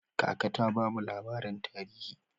Kaka ta bamu labarin tarihi.